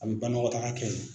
A bɛ banakɔtaga kɛ ye.